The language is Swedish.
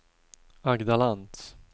Agda Lantz